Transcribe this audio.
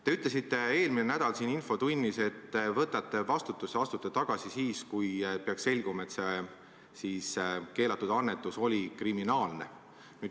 Te ütlesite eelmine nädal siin infotunnis, et võtate vastutuse ja astute tagasi siis, kui peaks selguma, et see keelatud annetus oli kriminaalne.